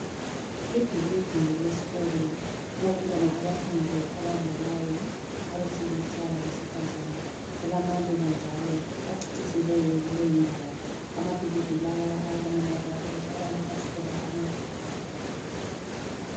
Ibhilidi lesikolo. Kulabantwana abaphandle abadlalayo abesilisa labesifazana. Kulamaluba njalo acecisiweyo kuleyindawo. Amabhilidi lawa ayabonakala ukuthi alamafasitela amakhulu.